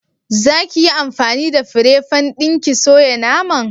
Za ki yi anfani da fire fan ɗin ki soya naman?